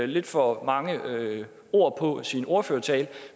lidt for mange ord på sin ordførertale